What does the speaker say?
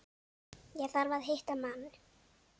Ég þarf að hitta mann.